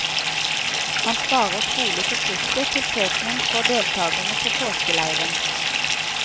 Han sparer trolig på kruttet til prekenen for deltagerne på påskeleieren.